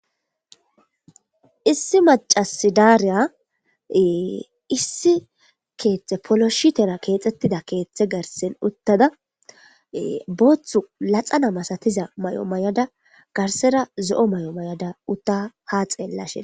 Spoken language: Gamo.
issi macasi daariya issi keeththe poloshitera keexxettida keeththe gersen uttada booththu laxana masatiza may7o may7ada garsera zo7o may7o may7ada utta ha xeellashe